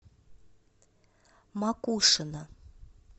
макушино